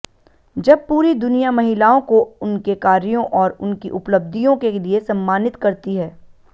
जब पूरी दुनिया महिलाओं को उनके कार्यों और उनकी उपलब्धियों के लिए सम्मानित करती है